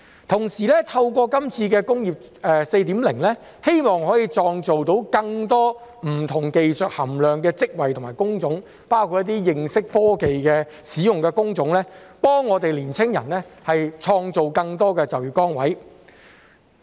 同時，透過今次的"工業 4.0"， 希望可以創造更多不同技術含量的職位及工種，包括一些認識科技使用的工種，為青年人創造更多就業崗位。